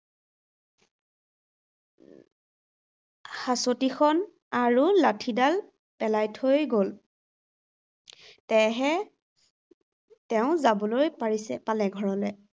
হাঁচতিখন আৰু লাঠিডাল পেলাই থৈ গল। তেহে তেওঁ যাবলৈ পাৰিছে, পালে ঘৰলে